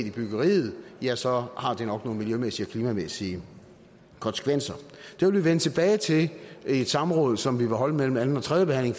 i byggeriet så har det nok nogle miljømæssige og klimamæssige konsekvenser det vil vi vende tilbage til i et samråd som vi vil holde mellem anden og tredje behandling